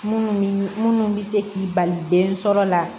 Munnu mii minnu bɛ se k'i bali den sɔrɔ la